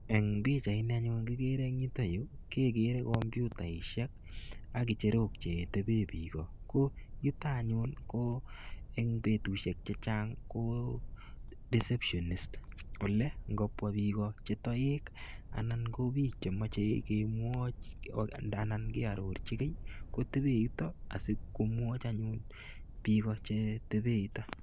En pichaini anyun kikere en yuton yuu kekere komputishek ak ngecherik chetebe bik ko yuton anyun ko en betushek chechang ko deceptionist ne gobwa bik cheyoek ana ko bik chemoche kemwoun anan keororchi kii kotebe yuton asikomwochi anyun bik Iko cheteben yuton.